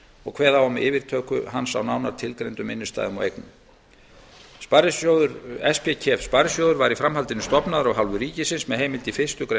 og kveða á um yfirtöku hans á nánar tilgreindum innstæðum og eignum spkef sparisjóður var í framhaldinu stofnaður af hálfu ríkisins með heimild í fyrstu grein